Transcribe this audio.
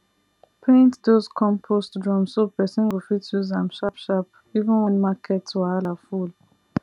paint those compost drum so person go fit use am sharp sharp even when market wahala full